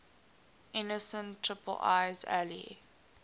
innocent iii's ally